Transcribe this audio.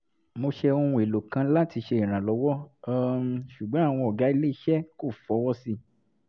mo ṣe ohun èlò kan láti ṣe ìrànlọ́wọ́ um ṣùgbọ́n àwọn ọ̀gá ilé iṣẹ́ kò fọwọ́ sí i